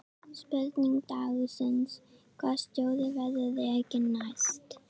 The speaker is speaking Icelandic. Spurning dagsins: Hvaða stjóri verður rekinn næst?